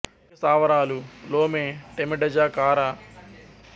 సైనిక స్థావరాలు లోమే టెమెడజా కారా నియంతుగౌ దపాంగు లలో సైనిక స్థావరాలు ఉన్నాయి